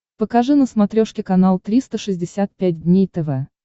покажи на смотрешке канал триста шестьдесят пять дней тв